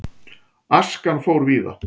Askan fór víða.